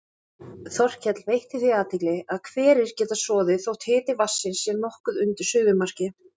Þorkell veitti því athygli að hverir geta soðið þótt hiti vatnsins sé nokkuð undir suðumarki.